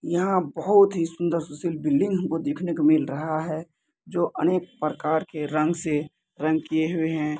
यँहा बहुत ही सुन्दर सुशील बिल्डिंग हमको देखने को मिल रहा है जो अनेक प्रकार के रंग से रंग किये हुए है।